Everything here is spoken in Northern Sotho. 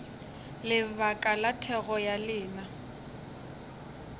lebaka la thekgo ya lena